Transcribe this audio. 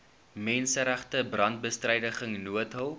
menseregte brandbestryding noodhulp